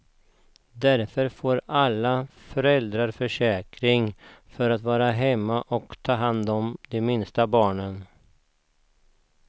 Därför får alla föräldraförsäkring för att vara hemma och ta hand om de minsta barnen.